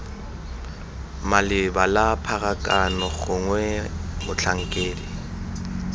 maleba la pharakano gongwe motlhankedi